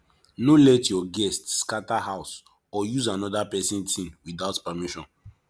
no let your guest scatter house or use another pesin thing without permission